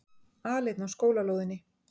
Aleinn á skólalóðinni.